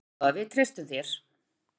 Jæja góða, við treystum þér.